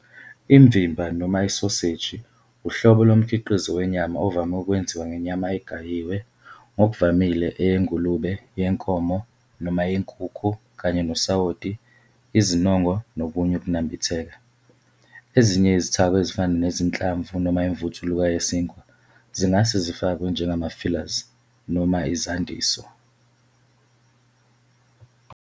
Imvimba noma Isoseji wuhlobo lomkhiqizo wenyama ovame ukwenziwa ngenyama egayiwe, ngokuvamile eyengulube, yenkomo, noma yenkukhu, kanye nosawoti, izinongo nokunye ukunambitheka. Ezinye izithako ezifana nezinhlamvu noma imvuthuluka yesinkwa zingase zifakwe njengama-fillers noma izandiso.